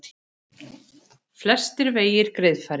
Flestir vegir greiðfærir